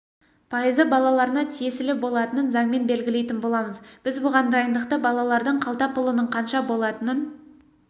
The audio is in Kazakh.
пайызы балаларына тиісілі болатынын заңмен белгілейтін боламыз біз бұған дайындықты балалардың қалта пұлының қанша болатынын